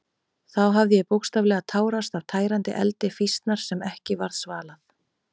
Þá hafði ég bókstaflega tárast af tærandi eldi fýsnar sem ekki varð svalað.